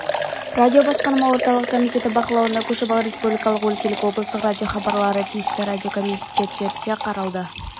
радиобасқарма орталық комитеті бақылауына көшіп ал республикалық өлкелік облыстық радиохабарлары тиісті радиокомитеттеріне қарады